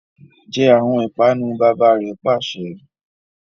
Je awọn ipanu! baba re pase